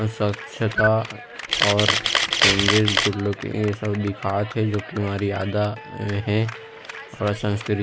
स्वच्छता और changes good looking ए सब दिखाथे जो की हमारा आदाए है और संस्कृति--